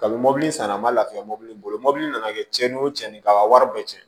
Kabini mɔbili san a ma lafiya mɔbili mɔbili nana kɛ cɛnni o cɛnni ka wari bɛɛ cɛn